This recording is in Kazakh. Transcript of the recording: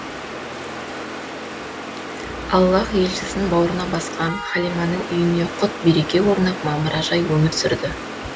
аллаһ елшісін бауырына басқан халиманың үйіне құт береке орнап мамыражай өмір сүрді